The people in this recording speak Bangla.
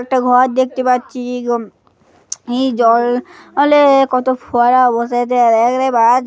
একটা ঘর দেখতে পাচ্ছি এরকম জল অলে-এ কত ফোয়ারা বসে আছে --